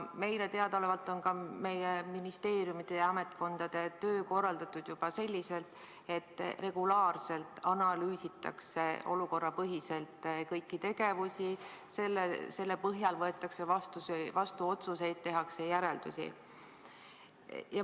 Meile teadaolevalt on ka meie ministeeriumide ja ametkondade töö korraldatud juba selliselt, et regulaarselt analüüsitakse olukorrapõhiselt kõiki tegevusi, nende põhjal võetakse vastu otsuseid, tehakse järeldusi.